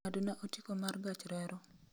ng'adna otiko mar gach reru